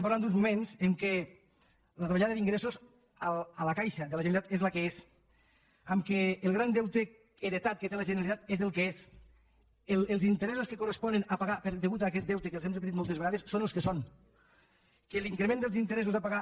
parlem d’uns moments en els quals la davallada d’ingressos a la caixa de la generalitat és la que és en els quals el gran deute heretat que té la generalitat és el que és els interessos que correspon pagar a causa d’aquest deute que els hem repetit moltes vegades són els que són que l’increment dels interessos a pagar